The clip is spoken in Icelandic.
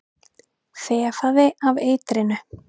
Þefaði af eitrinu.